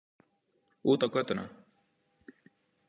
Út á götuna.